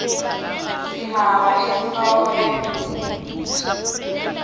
sihaba inhloko ebhudlweni